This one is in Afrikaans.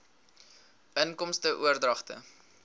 inkomste oordragte